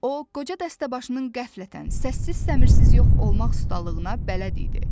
O qoca dəstəbaşının qəflətən səssiz-səmirsiz yox olmaq ustalığına bələd idi.